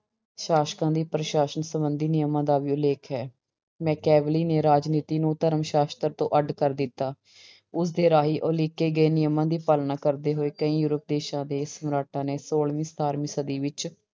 ਸਾਸਕਾਂ ਦੀ ਪ੍ਰਸ਼ਾਸ਼ਨ ਸੰਬੰਧੀ ਨਿਯਮਾਂ ਦਾ ਵੀ ਉਲੇਖ ਹੈ, ਮੈਕੈਵਲੀ ਨੇ ਰਾਜਨੀਤੀ ਨੂੰ ਧਰਮ ਸਾਸ਼ਤਰ ਤੋਂ ਅੱਢ ਕਰ ਦਿਤਾ, ਉਸਦੇ ਰਾਹੀਂ ਉਲੀਕੇ ਗਏ ਨਿਯਮਾਂ ਦੀ ਪਾਲਣਾ ਕਰਦੇ ਹੋਏ ਕਈ ਯੂਰਪ ਦੇਸਾਂ ਦੇ ਸਮਰਾਟਾਂ ਨੇ ਛੋਲਵੀਂ ਸਤਾਰਵੀਂ ਸਦੀ ਵਿੱਚ